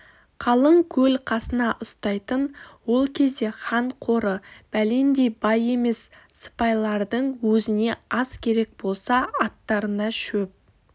қалың қол қасына ұстайтын ол кезде хан қоры бәлендей бай емес сыпайлардың өзіне ас керек болса аттарына шөп